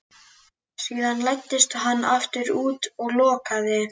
Síðan læddist hann aftur út og lokaði.